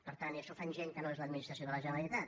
i això ho fan gent que no és l’administració de la generalitat